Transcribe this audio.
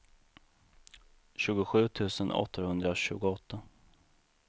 tjugosju tusen åttahundratjugoåtta